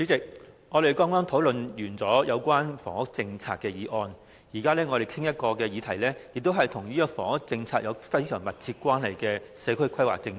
主席，我們剛討論完有關房屋政策的議案，我們現在討論的議題也是與房屋政策有非常密切關係的社區規劃政策。